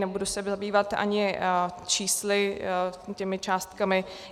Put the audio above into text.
Nebudu se zabývat ani čísly, těmi částkami.